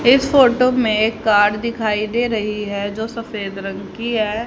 इस फोटो में एक कार दिखाई दे रही है जो सफेद रंग की है।